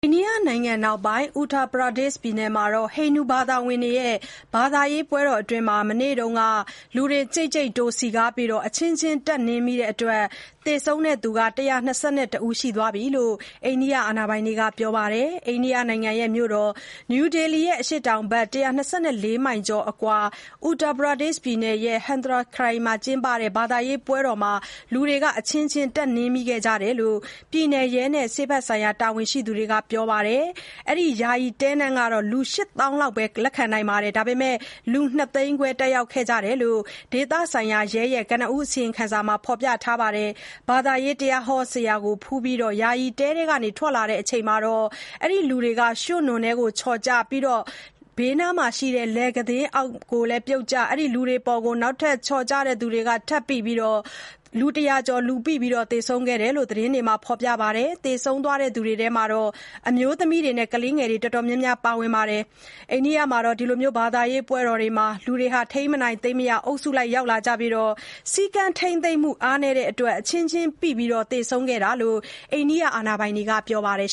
အိန္ဒိယနိုင်ငံမြောက်ပိုင်း Uttar Pradesh ပြည်နယ်မှာ ဟိန္ဒူဘာသာဝင်တွေရဲ့ ဘာသာရေးပွဲတော်အတွင်း မနေ့က လူတွေ ကြိတ်ကြိတ်တိုးပြီး အချင်းချင်း တက်နင်းမိတဲ့အတွက် သေဆုံးသူ ၁၂၁ ယောက်ရှိသွားပြီလို့ အိန္ဒိယ အရာရှိတွေက ပြောပါတယ်။ အိန္ဒိယ မြို့တော်နယူးဒေလီရဲ့ အရှေ့တောင်ဘက် ကီလိုမီတာ ၂၀၀ အကွာ Uttar Pradesh ပြည်နယ် Hathras ခရိုင် မှာ ကျင်းပတဲ့ ဘာသာရေးပွဲတော်အတွင်း လူတွေ အချင်းချင်းတက်နင်းမိကြတဲ့အကြောင်း ပြည်နယ်ရဲနဲ့ ဆေးဘက်ဆိုင်ရာ တာဝန်ရှိသူတွေက ပြောပါတယ်။ လူ ၈ သောင်း ပါဝင်ခွင့်ပေးထားတဲ့ အခမ်းအနားကို ၂ သိန်းခွဲလောက် တက်ရောက်လာခဲ့တယ်လို့အေပီသတင်းက ပြောပါတယ်။ လူအုပ်ကြီး ရွက်ဖျင်တဲကနေ အထွက်မှာ တချို့က လမ်းရဲ့တဘက်က မြောင်းထဲပြုတ်ကျသွားကြပြီး တခြားသူတွေ ထပ်ကျရာက လူပိ သေဆုံးကြတာဖြစ်တယ်လို့ မျက်မြင် သက်သေတယောက်က Press Trust of India သတင်းဌာနကို ပြောပါတယ်။ သေဆုံးတဲ့အထဲမှာ အမျိုးသမီးတွေနဲ့ ကလေးတွေ အတော်များများပါဝင်ပါတယ်။ ဘာသာရေးပွဲတော်တွေမှာ လူတွေ ထိန်းမနိုင်သိမ်းမရ အုပ်စုလိုက်ရောက်လာပြီး စည်းကမ်းထိမ်းသိမ်းမှု အားနည်းတဲ့အတွက် အချင်းချင်း ပိပြီး သေဆုံးခဲ့တာလို့ အာဏာပိုင်တွေက ပြောပါတယ်